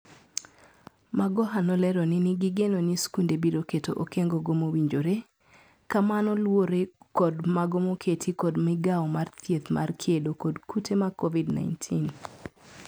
Magoha nolero ni gigeno ni skunde biro keto okengo go mowinjore. Ka mano luore kod mago moketi kod migao mar thieth mar kedo kod kute ma COVID-19.